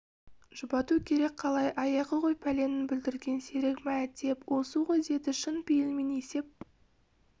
жұбату керек қалай аяғы ғой пәлені бүлдірген серік мә теп осы ғой деді шын пейілмен есеп